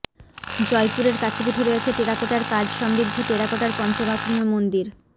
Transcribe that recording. জয়পুরের কাছেপিঠে রয়েছে টেরাকোটার কাজ সমৃদ্ধ টেরাকোটার পঞ্চরত্ন মন্দির